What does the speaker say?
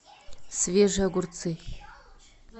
свежие огурцы